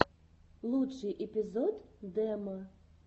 лучший эпизод демо